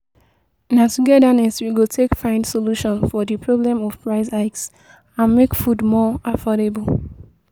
Na togetherness we go take find solutions to di problem of price hikes and make food more affordable.